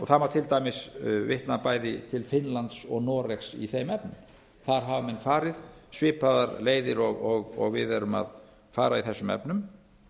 það má til dæmis vitna bæði til finnlands og noregs í þeim efnum þar hafa menn farið svipaðar leiðir og við erum að fara í þessum efnum